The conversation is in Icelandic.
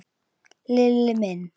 Lilli minn.